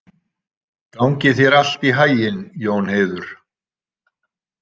Gangi þér allt í haginn, Jónheiður.